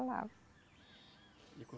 E co